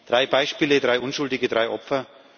Drei Beispiele, drei Unschuldige, drei Opfer.